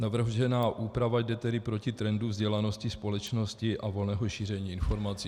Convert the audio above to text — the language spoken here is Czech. Navržená úprava jde tedy proti trendu vzdělanosti společnosti a volného šíření informací.